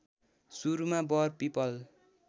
सुरुमा वर पीपल